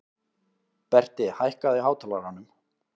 Berti, hækkaðu í hátalaranum.